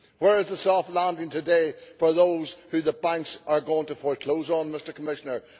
Where is the soft landing today for those who the banks are going to foreclose on, Mr Commissioner?